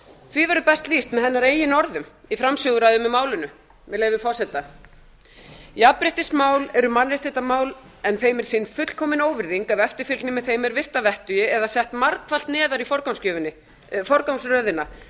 því verður best lýst með hennar eigin orðum í framsöguræðu með málinu með leyfi forseta jafnréttismál eru mannréttindamál en þeim er sýnd fullkomin óvirðing ef eftirfylgni með þeim er virt að vettugi eða sett margfalt neðar í forgangsröðina